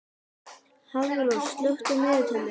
Hafrós, slökktu á niðurteljaranum.